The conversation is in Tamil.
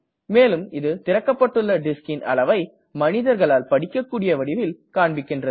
மேலும் இது திறக்கப்பட்டுள்ள discன் அளவை மனிதர்களால் படிக்கக்கூடிய வடிவில் காண்பிக்கின்றது